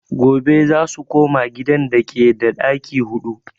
Gobe zasu koma gidan dake da ɗaki huɗu